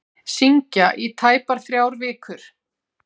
Syngja í tæpar þrjár vikur